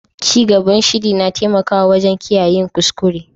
Cigaban shiri na taimakawa wajen kiyaye yin kuskure.